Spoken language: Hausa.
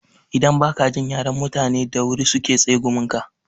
Idan ba ka jin yaren mutani da wuri su ke tsegumin ka.